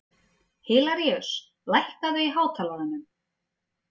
Hilaríus, lækkaðu í hátalaranum.